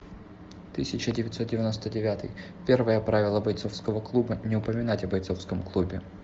тысяча девятьсот девяносто девятый первое правило бойцовского клуба не упоминать о бойцовском клубе